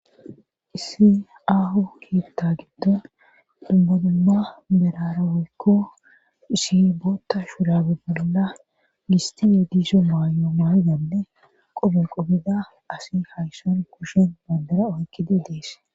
Issi ahu keetta giddon dubmadumma berara woykko isi bootta shuurabe bolla gistiye diso maayo naydanne qobe qobida asi haysson kushen bandara oykkidi dees